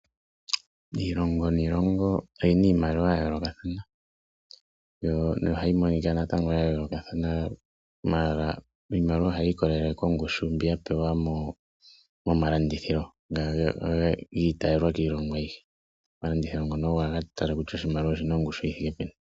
Iilongo niilongo oyina iimaliwa ya yoolokathana, yo nohayi monika ya yoolokathana maala iimaliwa ohayi i kolele kongushu mbi ya pewa momalandithilo nga giitayelwa kiilongo ayihe. Omalandithilo ngono ogo haga tala kutya ogena ongushu yithike peni.